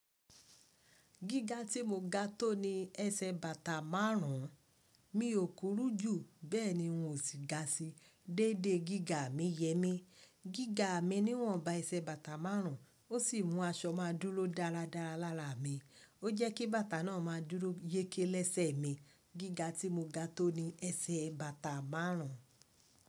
Gíga tí mo ga tò ni ẹsẹ̀ bàtà márùn ún, mi ò korú jù bẹ́ẹ̀ ni n ò sí ga sí. Dédé gíga mi yẹ mí, gíga mi ni wọ́n ba ẹsẹ̀ bàtà márùn ún, ó sì mú aṣọ má a dúró dáradára lára mi, ó jẹ́ kí bàtà náà má a dúró yéké lẹ́sẹ̀ mi. Gíga tí mo ga tò ni ẹsẹ̀ bàtà márùn ún.